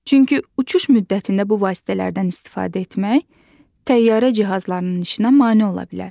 Çünki uçuş müddətində bu vasitələrdən istifadə etmək təyyarə cihazlarının işinə mane ola bilər.